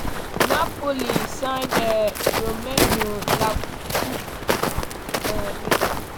napoli sign romelu lukaku from chelsea to confam dia decision.